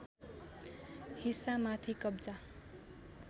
हिस्सा माथि कब्जा